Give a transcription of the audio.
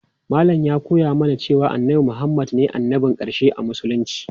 Malam ya koya mana cewa annabi Muhammad ne annabin ƙarshe a musulunci.